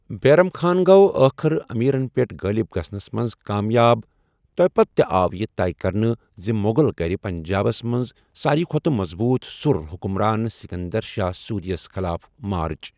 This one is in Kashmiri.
بیرم خان گوٚو ٲخر امیرن پٮ۪ٹھ غٲلب گژھنَس منٛز کامیاب، توٚپتہٕ، تہٕ آو یہٕ طے کرنہٕ زِ مغل کٔرِ پنجابس منٛز ساری کھوتہٕ مضبوٗط سُر حکمران سکندر شاہ سوری یَس خٕلاف مارچ۔